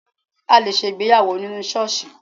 A lè ṣe ìgbéyàwó nínú ṣọ́ọ̀ṣì